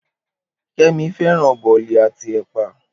Kemi fẹ́ràn bòlì àti ẹ̀pà.